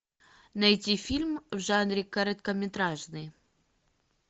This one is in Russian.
найти фильм в жанре короткометражный